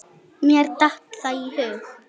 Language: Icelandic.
Mér datt það í hug.